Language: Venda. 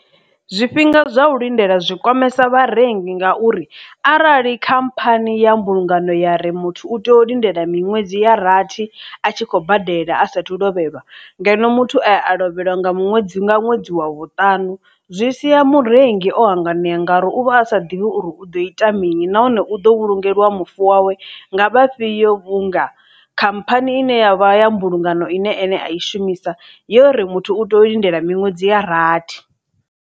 Zwifhinga zwa u lindela zwi kwamesa vharengi ngauri arali khamphani ya mbulungano ya ri muthu u tea u lindela miṅwedzi ya rathi a tshi khou badela a sathu lovhelwa ngeno muthu aya a lovheliwa nga ṅwedzi nga ṅwedzi wa vhuṱanu zwi sia murengi o hanganea ngauri u vha a sa ḓivhi uri u ḓo ita mini, nahone u ḓo vhulungeliwa mufu wawe nga vhafhiyo vhunga khamphani ine ya vha ya mbulungano ine ene a i shumisa yori muthu u tea u lindela miṅwedzi ya rathi.